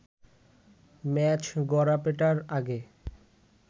match গড়াপেটার আগে